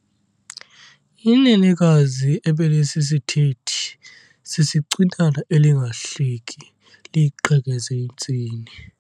Inenekazi ebelisisithethi sisicwinana elingahleki liyiqhekeze intsini.